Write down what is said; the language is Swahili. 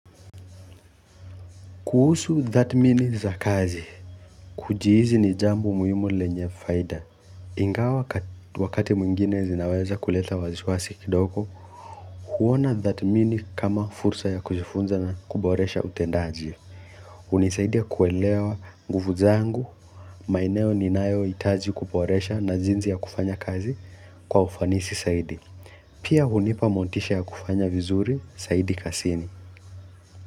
Kuhusu tathmini za kazi. Kujihisi ni jambo muhimu lenye faida. Ingawa wakati mwingine zinaweza kuleta wasiwasi kidogo. Huona tathmini kama fursa ya kujifunza na kuboresha utendaji. Hunisaidia kuelewa nguvu zangu, maeneo ninayohitaji kuboresha na jinsi ya kufanya kazi kwa ufanisi zaidi. Pia hunipa motisha ya kufanya vizuri zaidi kazini.